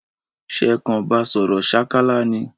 Sé kan ba sòrò sákálá ni?